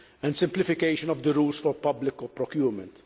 and simplification of the rules for public procurement.